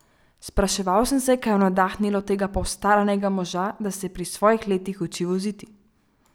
Spraševal sem se, kaj je navdahnilo tega postaranega moža, da se pri svojih letih uči voziti?